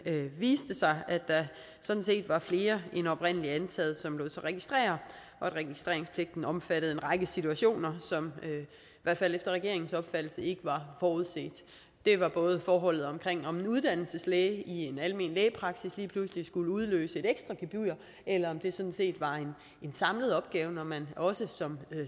viste sig at der sådan set var flere end oprindelig antaget som lod sig registrere og at registreringspligten omfattede en række situationer som i hvert fald efter regeringens opfattelse ikke var forudset det var både forholdet om om en uddannelseslæge i en almen lægepraksis lige pludselig skulle udløse et ekstra gebyr eller om det sådan set var en samlet opgave når man som